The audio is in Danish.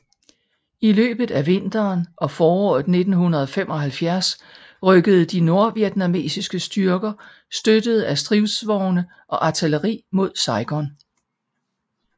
I løbet af vinteren og foråret 1975 rykkede de nordvietnamesiske styrker støttede af stridsvogne og artilleri mod Saigon